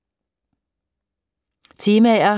Temaer